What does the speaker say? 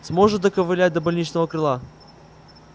сможешь доковылять до больничного крыла